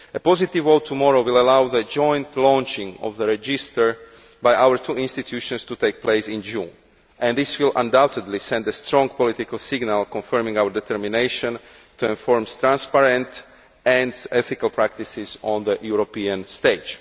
A positive vote tomorrow will allow the joint launching of the register by our two institutions to take place in June. This will undoubtedly send a strong political signal confirming our determination to enforce transparent and ethical practices on the European stage.